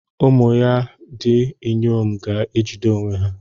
Ụmụ ya ndị inyom ga-ejide onwe ha.